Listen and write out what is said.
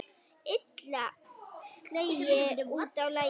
Illa sleginn út af laginu.